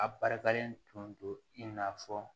A barikalen tun do in n'a fɔ